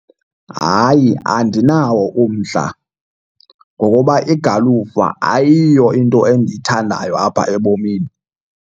Hayi, andinawo umdla ngokoba igalufa ayiyo into endiyithandayo apha ebomini.